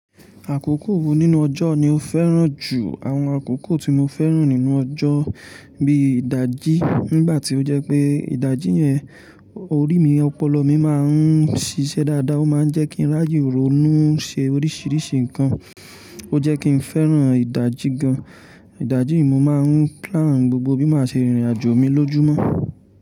Àkókò wo nínú ọjọ́ ni ó fẹ́ràn jù? Àwọn àkókò tí mo fẹ́ràn nínú ọjọ́ bíi ìdajì, nígbà tí ó jẹ́ pé ìdajì yẹn orí mi ọpọlọ mi máa ń ṣíṣe dáadáa. Ó máa ń jẹ́ kí n ráàye ronú, ṣe oríṣìíríṣìí nǹkan. Ó jẹ́ kí n fẹ́ràn ìdajì gan. Ìdajì yii mo máa ń plan gbogbo bí mo ṣe rìnrìn àjò mi lójúmọ́